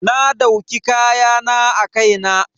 Na dauki kayan a kai na.